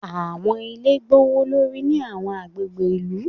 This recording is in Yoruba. Àwọn ilé gbówólórí ní àwọn agbègbè ìlú.